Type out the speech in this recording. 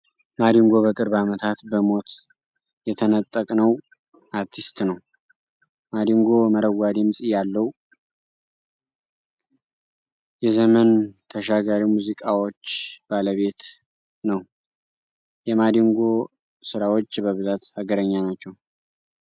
ማዲንጎ በቅርብ አመታት በሞት የተነጠቅነው አርቲስት ነው። ማዲንጎ መረዋ ድምፅ ያለው የዘመን ተሻጋ ሙዚቃዎች ባለቤት ነው። የማዲንጎ ስራዎች በብዛት ሀገርኛ ናቸው።